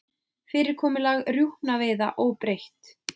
Fyrirkomulag rjúpnaveiða óbreytt